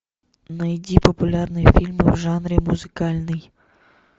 найди популярные фильмы в жанре музыкальный